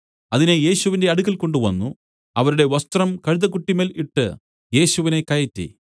അതിനെ യേശുവിന്റെ അടുക്കൽ കൊണ്ടുവന്നു അവരുടെ വസ്ത്രം കഴുതക്കുട്ടിമേൽ ഇട്ട് യേശുവിനെ കയറ്റി